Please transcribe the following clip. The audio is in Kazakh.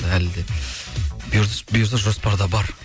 әлі де бұйырса жоспарда бар